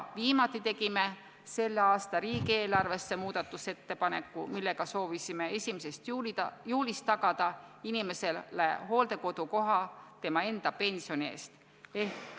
Viimati tegime selle aasta riigieelarve muutmiseks ettepaneku, millega soovisime 1. juulist tagada inimesele hooldekodukoha tema enda pensioni eest.